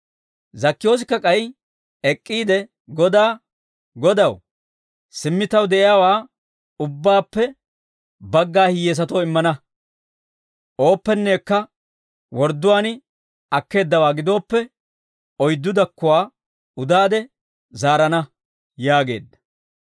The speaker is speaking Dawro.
Zakkiyoosikka k'ay ek'k'iide Godaa, «Godaw, simmi taw de'iyaawaa ubbaappe bagga hiyyesatoo immana; ooppennekka wordduwaan akkeeddawaa gidooppe, oyddu dakkuwaa udaade zaarana» yaageedda.